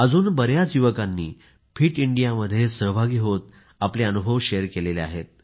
अजून बऱ्याच युवकांनी फिट इंडियामध्ये सहभागी होत आपले अनुभव शेअर केले आहेत